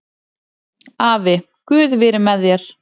Afi, guð veri með þér